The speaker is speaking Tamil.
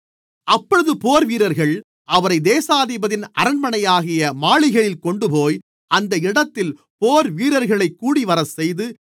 அப்பொழுது போர்வீரர்கள் அவரைத் தேசாதிபதியின் அரண்மனையாகிய மாளிகையில் கொண்டுபோய் அந்த இடத்தில் போர்வீரர்களைக் கூடிவரச்செய்து